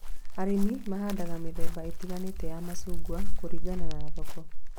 Arĩmi mahandaga mĩthemba ĩtiganĩte ya macungwa kũringana na thoko